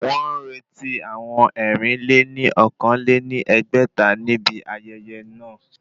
Wọ́n ń retí àwọn ẹ̀rin-lé-ní-okòó lé ní ẹgbẹ́ta ní ibi ayẹyẹ náà